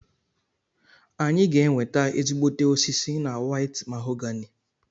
A ga-enweta ezigbote osisi na White mahogany